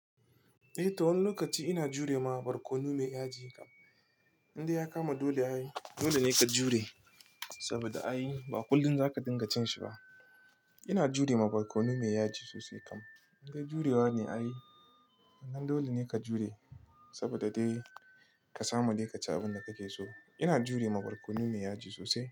Eh, to wani lokaci ina jure ma barkono mai yaji kam, inda ya kama dole ayi. Dole ne ka jure saboda ayi. Ba kullum za ka dinga cin shi ba. Ina jure ma barkono mai yaji sosai kam. Inda jurewa ne ayi. Nan dole ne ka jure saboda dai ka samu dai ka ci abin da kake so. Ina jure ma barkono mai yaji sosai.